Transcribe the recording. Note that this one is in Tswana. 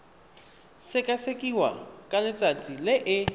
sekasekiwa ka letsatsi le e